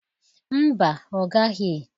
Mba, ọ gaghị.